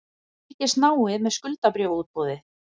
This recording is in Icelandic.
Fylgjast náið með skuldabréfaútboði